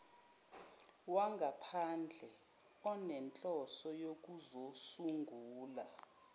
wangaphandle onenhloso yokuzosungula